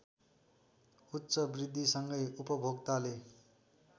उच्च वृद्धिसँगै उपभोक्ताले